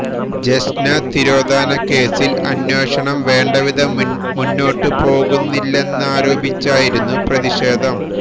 ജെസ്ന തിരോധാന കേസില് അന്വേഷണം വേണ്ട വിധം മൂന്നോട്ട് പോകുന്നില്ലെന്നാരോപിച്ചായിരുന്നു പ്രതിഷേധം